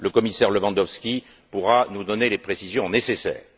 Le commissaire Lewandowski pourra nous donner les précisions nécessaires.